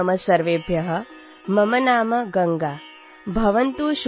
অলপ মনোযোগেৰে শুনিব